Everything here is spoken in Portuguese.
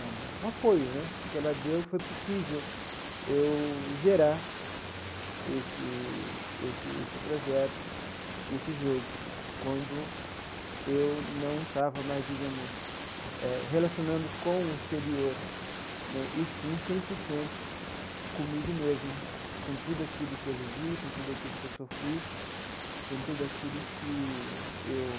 o apoio né que ela deu, foi possível eu gerar esse esse esse projeto, e esse jogo, quando eu não estava mais, digamos, eh relacionando com o exterior né, e sim cem por cento comigo mesmo, com tudo aquilo que eu vivi, com tudo aquilo que eu sofri, com tudo aquilo que eu...